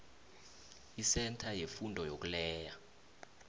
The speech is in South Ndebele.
esentha yefundo yokuleya